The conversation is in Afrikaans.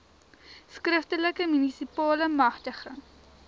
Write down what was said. skriftelike munisipale magtiging